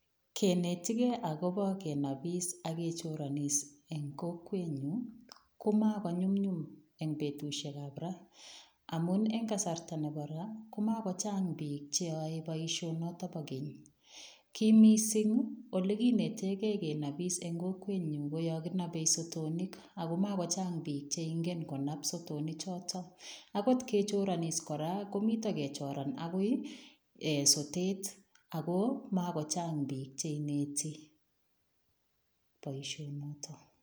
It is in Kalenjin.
Kenetikei akobo kenapis ak kechoronis eng kokwenyu, ko mako nyumnyum eng betusiekab ra, amun eng kasarta nebo ra komako chang piik che yoe boisionoto bo keny, ki mising olekinetekei kenopis eng kokwenyu ko yo kenobe sotonik ako makochang piik che ingen konap sotoni choto, akot kechoronis kora komito kechoran akoi um sotet ako mako chang piik che ineti boisionoto.